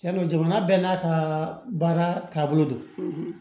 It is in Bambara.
Yarɔ jamana bɛɛ n'a ka baara taabolo don